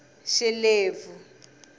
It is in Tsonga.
xilebvu